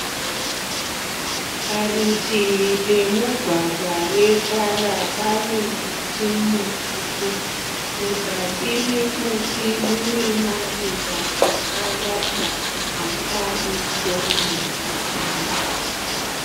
Parutivi pemugwagwa wetara pane muti mukuru. Muzasi memuti mune maruva akawanda akaisvonaka samare.